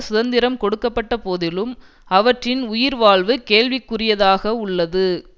சுதந்திரம் கொடுக்கப்பட்டபோதிலும் அவற்றின் உயிர்வாழ்வு கேள்விக்குரியதாகவுள்ளது